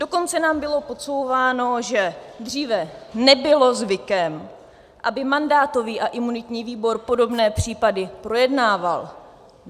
Dokonce nám bylo podsouváno, že dříve nebylo zvykem, aby mandátový a imunitní výbor podobné případy projednával.